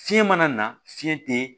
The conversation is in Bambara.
Fiɲɛ mana na fiɲɛ tɛ